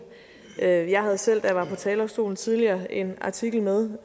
jeg jeg havde selv da jeg var på talerstolen tidligere en artikel med